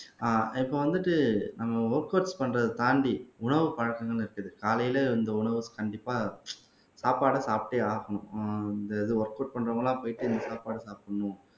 ஆஹ் இப்ப வந்துட்டு நம்ம ஒர்கவுட்ஸ் பண்றதை தாண்டி உணவு பழக்கங்களும் இருக்குது காலையில இந்த உணவு கண்டிப்பா சாப்பாடை சாப்பிட்டே ஆகணும் ஆஹ் இந்த இது ஒர்கவுட் பண்றவங்கெல்லாம் போயிட்டு சாப்பாடு சாப்பிடணும்